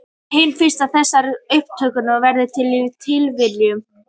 Hin fyrsta þessara uppgötvana varð fyrir tilviljun.